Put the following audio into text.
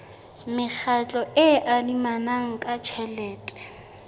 mekgatlo e adimanang ka tjhelete